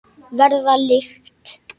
Verða lykt.